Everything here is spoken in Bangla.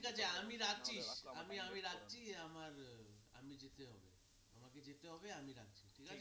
ঠিক আছে তাহলে আমি রাখছি আমি আমি রাখছি আমার আমি যেতে হবে আমাকে যেতে হবে আমি রাখছি